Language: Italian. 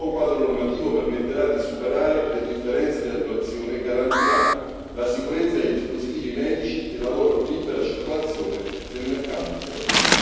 Il nuovo quadro normativo permetterà di superare le differenze di attuazione e garantirà la sicurezza dei dispositivi medici e la loro libera circolazione nel mercato interno.